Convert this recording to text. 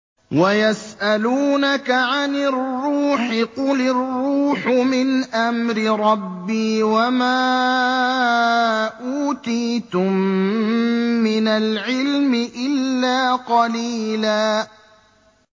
وَيَسْأَلُونَكَ عَنِ الرُّوحِ ۖ قُلِ الرُّوحُ مِنْ أَمْرِ رَبِّي وَمَا أُوتِيتُم مِّنَ الْعِلْمِ إِلَّا قَلِيلًا